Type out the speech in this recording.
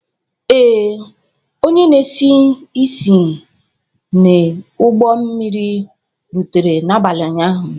Ee, onye na esi isi n'ụgbọ mmiri rutere n'abalị ụnyaahụ.